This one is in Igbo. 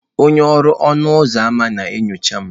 Onye ọrụ ọnụ ụzọ ámá na-enyocha m.